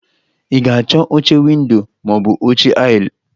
Ị ga-achọ oche ̄windo ma ọ bụ oche aisle?